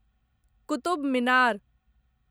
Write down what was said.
Qutub Minar